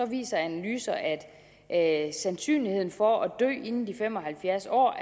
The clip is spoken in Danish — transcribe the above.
viser analyser at at sandsynligheden for at dø inden de fem og halvfjerds år